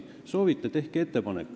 Kui te seda soovite, siis tehke ettepanek.